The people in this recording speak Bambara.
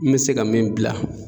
N mɛ se ka min bila